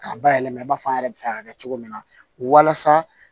K'a bayɛlɛma i b'a fɔ an yɛrɛ bɛ fɛ ka kɛ cogo min na walasa